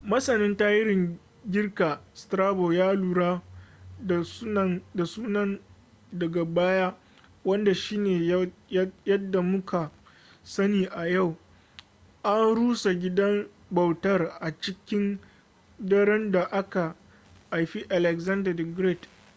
masanin tarihin girka strabo ya lura da sunan daga baya wanda shine yadda muka sani a yau. an rusa gidan bautar a cikin daren da aka haifi alexander the great